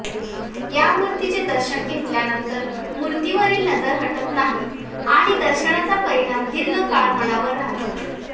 या मूर्तीचे दर्शन घेतल्यानंतर मूर्तीवरील नजर हटत नाही आणि दर्शनाचा परिणाम दीर्घ काळ मनावर राहतो